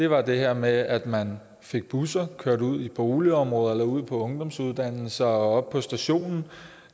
var det her med at man fik busser kørt ud i boligområder ud på ungdomsuddannelser og op på stationen